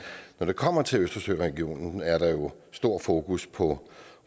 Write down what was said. når det kommer til østersøregionen er der jo stor fokus på